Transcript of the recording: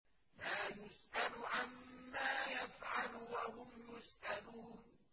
لَا يُسْأَلُ عَمَّا يَفْعَلُ وَهُمْ يُسْأَلُونَ